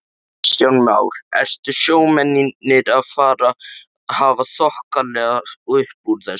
Kristján Már: Eru sjómennirnir að hafa þokkalegt uppúr þessu?